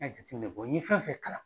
N y'a jate minɛ n ye fɛn fɛn kalan